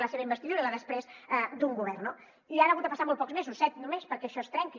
la seva investidura i després un govern no i han hagut de passar molts pocs mesos set només perquè això es trenqui